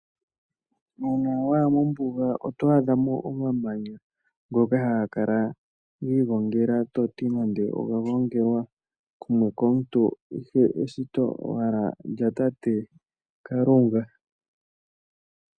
Uuna wa ya mombuga oto adha mo omamanya ngoka haga kala gi igongela to ti nando oga gongelwa po komuntu, ihe eshito owala lyatate Kalunga.